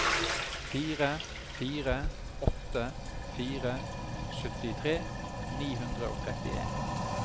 fire fire åtte fire syttitre ni hundre og trettien